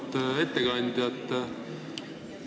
Auväärt ettekandja!